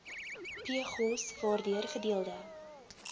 pgos waardeur gedeelde